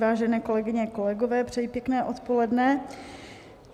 Vážené kolegyně, kolegové, přeji pěkné odpoledne.